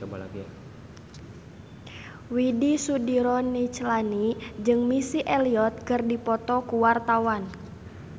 Widy Soediro Nichlany jeung Missy Elliott keur dipoto ku wartawan